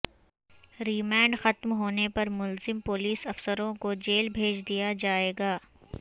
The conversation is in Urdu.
ریمانڈ ختم ہونے پر ملزم پولیس افسروں کو جیل بھیج دیا جائےگا